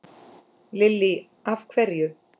Lillý: Af hverju?